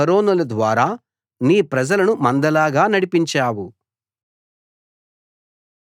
మోషే అహరోనుల ద్వారా నీ ప్రజలను మందలాగా నడిపించావు